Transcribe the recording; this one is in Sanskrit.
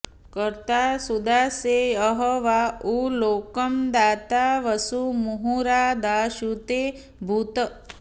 कर्ता सुदासे अह वा उ लोकं दाता वसु मुहुरा दाशुषे भूत्